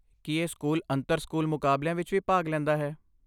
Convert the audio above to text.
ਕੀ ਇਹ ਸਕੂਲ ਅੰਤਰ ਸਕੂਲ ਮੁਕਾਬਲਿਆਂ ਵਿੱਚ ਵੀ ਭਾਗ ਲੈਂਦਾ ਹੈ?